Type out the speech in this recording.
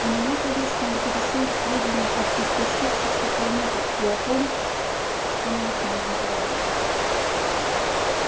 и меня конечно интересуют сведения об истощившихся планетах и о том что на них можно заработать